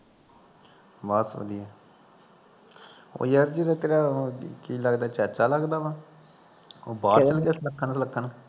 ਬਸ ਵਧੀਆ ਓਹ ਯਾਰ ਜਿਹੜਾ ਤੇਰਾ ਕੀ ਲੱਗਦਾ ਈ ਚਾਚਾ ਲੱਗਦਾ ਵਾ ਉਹ ਬਾਹਰ ਚੱਲ ਗਿਆ ਸੱਲੂਖਣ ਲਖਣ